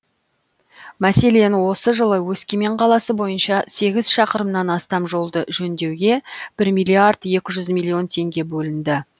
мәселен осы жылы өскемен қаласы бойынша сегіз шақырымнан астам жолды жөндеуге бір миллиард екі жүз миллион теңге бөлінді